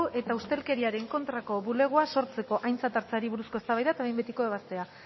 eta ustelkeriaren kontrako bulegoa sortzeko aintzat hartzeari buruzko eztabaida eta behin betiko ebazpena